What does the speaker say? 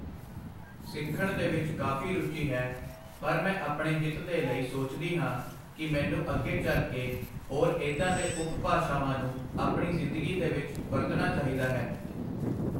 ਸਿੱਖਣ ਦੇ ਵਿੱਚ ਕਾਫੀ ਰੁਚੀ ਹੈ ਪਰ ਮੈਂ ਆਪਣੇ ਹਿੱਤ ਦੇ ਲਈ ਸੋਚਦੀ ਹਾਂ ਕਿ ਮੈਨੂੰ ਅੱਗੇ ਚੱਲ ਕੇ ਹੋਰ ਇਹਦਾ ਦੇ ਉਪ ਭਾਸ਼ਾਵਾਂ ਨੂੰ ਆਪਣੀ ਜ਼ਿੰਦਗੀ ਦੇ ਵਿੱਚ ਵਰਤਣਾ ਚਾਹੀਦਾ ਹੈ